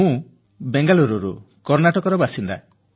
ମୁଁ ବେଙ୍ଗାଲୁରୁ କର୍ଣ୍ଣାଟକର ବାସିନ୍ଦା